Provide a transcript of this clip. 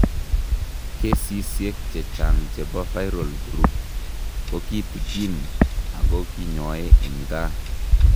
Kesisiek chechang' chebo viral croup kokitikin ako kinyoee eng' kaa